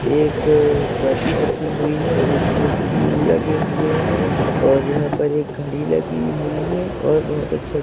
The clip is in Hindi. एक मगी रखी हुई है जिसमें फूल लगे हुए हैं और यहां पर एक घड़ी लगी हुई है और बहुत अच्छे --